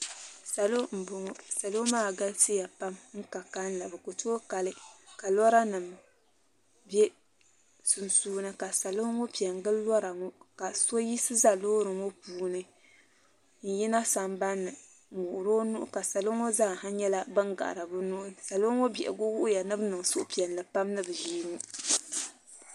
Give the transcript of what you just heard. Salo m boŋɔ salo maa galisiya pam n ka kalili bɛ ku toogi kali ka lora nima biɛ sunsuuni ka salo ŋɔ piɛngili lora ŋɔ ka so yiɣisi za loori ŋɔ puuni n yina sambanni n wuɣiri o nuu ka salo maa zaa ha nyɛla ban gahari bɛ nuu doo ŋɔ biɛhigu wuhiya ni bɛ niŋ suhupiɛlli pam ni bɛ ʒii ŋɔ.